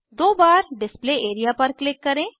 दो बार display area पर क्लिक करें